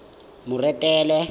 moretele